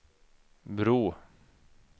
bro